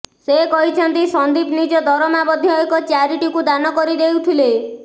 ସେ କହିଛନ୍ତି ସନ୍ଦୀପ ନିଜ ଦରମା ମଧ୍ୟ ଏକ ଚ୍ୟାରିଟିକୁ ଦାନ କରିଦେଉଥିଲେ